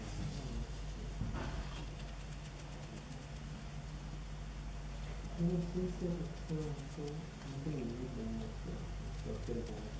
É, realmente... Eu não sei se eu se eu se eu entendi bem a sua a sua pergunta.